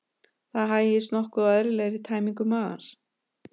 Það hægist nokkuð á eðlilegri tæmingu magans.